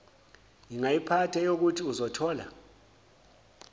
ngayiphatha eyokuthi uzothola